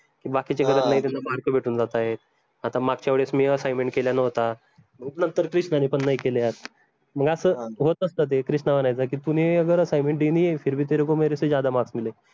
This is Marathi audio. mark भेटून जातायत आता मागच्या वेडेस मी assignment केला नव्हता मग नंतर क्रिश्नानी पन नाई केल्यात मग आस होत असत ते क्रिश्ना म्हनायचा की, तुने अगर assignmen दिये नही है फिर भी तेरेको मेरेसे ज्यादा माक्स मिले